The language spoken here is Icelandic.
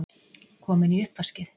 Komin í uppvaskið!